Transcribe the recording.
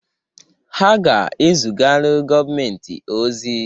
Ha ga-ezugalụ gọọmentị ọzi.